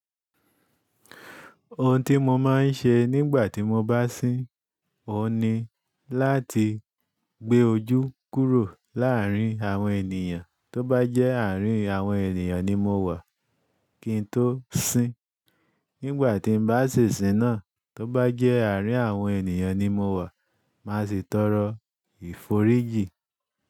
Ohun tí mo máa ń ṣe nígbà tí mo bá sín ó ni láti gbé ojú kúrò láàárín àwọn ènìyàn. Tóbá jẹ́ àárín àwọn ènìyàn ni mo wà kí n tó sín. Nígbà tí bá sisín náà, tó bá jẹ́ àárín àwọn ènìyàn ni mo wà, màá sì tọrọ ìforíjì.